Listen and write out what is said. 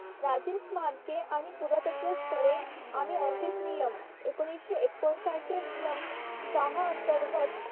साम्रके आणि पुरातत्व स्थळे आणि office नियम एकोणीशे एकोणसाठ चा नियम सहा अंतर्गत